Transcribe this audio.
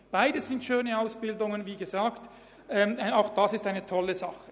Beides sind schöne Ausbildungen, und auch diese Klasse ist eine tolle Sache.